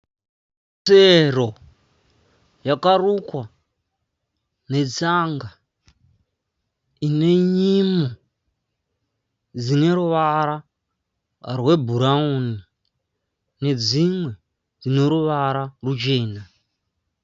Tsero yakarukwa netsanga ine nyimo dzine ruvara rwebhurauni nedzimwe dzino ruvara ruchena.